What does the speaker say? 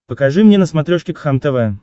покажи мне на смотрешке кхлм тв